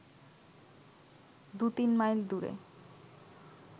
দু-তিন মাইল দূরে